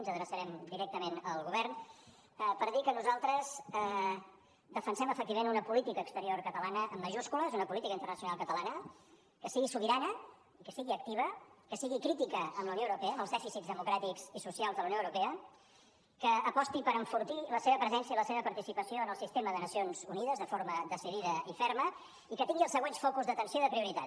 ens adreçarem directament al govern per dir que nosaltres defensem efectivament una política exterior catalana amb majúscules una política internacional catalana que sigui sobirana i que sigui activa que sigui crítica amb la unió europea amb els dèficits democràtics i socials de la unió europea que aposti per enfortir la seva presència i la seva participació en el sistema de nacions unides de forma decidida i ferma i que tingui els següents focus d’atenció i de prioritat